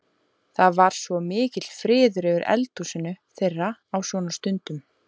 Það var svo mikill friður yfir eldhúsinu þeirra á svona stundum.